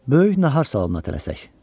Böyük nahar salona tələsək.